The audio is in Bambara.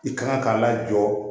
I kan ka lajɔ